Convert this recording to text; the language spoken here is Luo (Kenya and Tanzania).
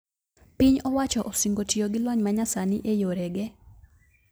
Piny owacho osingo tiyo gi lony manyasani e yore ge